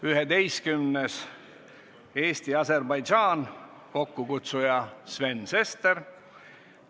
Üheteistkümnendaks, Eesti-Aserbaidžaan, kokkukutsuja on Sven Sester.